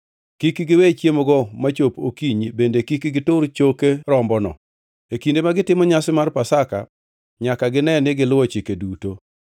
Kik giwe chiemogo machop okinyi bende kik gitur choke rombono. E kinde ma gitimo nyasi mar Pasaka nyaka gine ni giluwo chike duto.